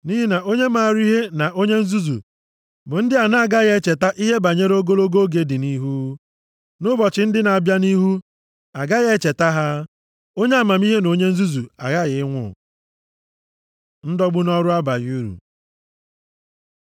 Nʼihi na onye maara ihe na onye nzuzu bụ ndị a na-agaghị echeta ihe banyere ogologo oge dị nʼihu. Nʼụbọchị ndị na-abịa nʼihu, a gaghị echeta ha. Onye amamihe na onye nzuzu aghaghị ịnwụ.” Ndọgbu nʼọrụ abaghị uru